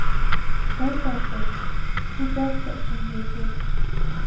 Darvoqe, bu barcha uchun bepul!